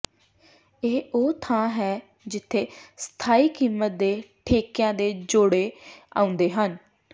ਇਹ ਉਹ ਥਾਂ ਹੈ ਜਿੱਥੇ ਸਥਾਈ ਕੀਮਤ ਦੇ ਠੇਕਿਆਂ ਦੇ ਜੋੜੇ ਆਉਂਦੇ ਹਨ